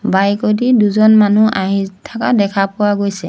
Bike এ দি দুজন মানুহ আহি থাকা দেখা পোৱা গৈছে।